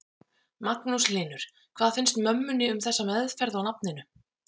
Magnús Hlynur: Hvað finnst mömmunni um þessa meðferð á nafninu?